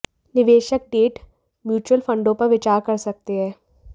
निवेशक debt mutual फंडों पर विचार कर सकते हैं